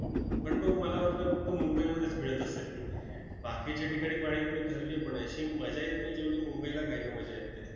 पण तो मला वाटतं फक्त मुंबईमध्येच मिळत असेल! बाकीच्या ठिकाणी पाणीपुरी खाल्ली आहे, पण अशी मजा येत नाही जेवढी मुंबईला खायला मजा येते.